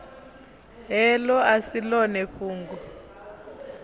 heḽo a si ḽone fhungo